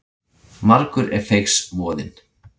Margur er feigs voðinn.